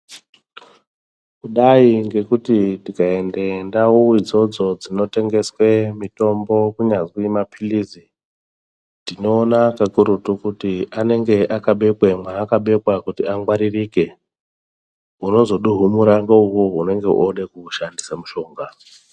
Kudai ngekuti tika ende ndau idzodzo dzino tengeswe mitombo kunyazi ne mapilizi tinoona kakurutu kuti anenge aka bekwa ma aka bekwa kuti angwaririke unozo benyengura nge muntu unenge wode kumu shandisa mushonga.